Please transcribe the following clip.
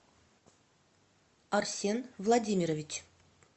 арсен владимирович